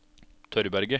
Tørberget